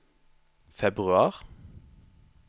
februar